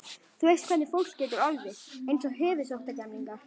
Þú veist hvernig fólk getur orðið: Eins og höfuðsóttargemlingar.